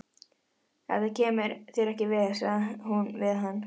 Þetta kemur þér ekki við, sagði hún við hann.